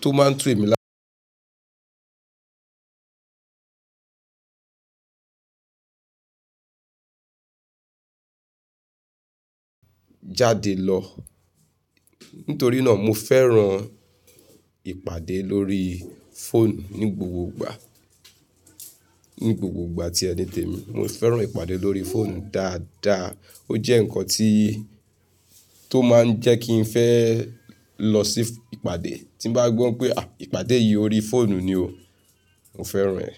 tó máa ń tu emí lá jáde lọ. Nítorí náà mo fẹ́ràn ìpàdé lórí phone ní gbogbo ìgbà. Ní gbogbo ìgbà tí ẹni tèmi. Mo fẹ́ràn ìpàdé lórí phone dáadáa. Ó jẹ́ ǹkan tí, tó máa ń jẹ́ kí n fẹ́ lọ sí ìpàdé. Tí n bá gbọ́ n pé à ìpàdé yìí orí fóònù ni o, mo fẹ́ràn ẹ́.